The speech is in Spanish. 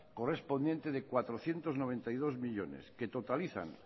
correspondiente de cuatrocientos noventa y dos millónes que totalizan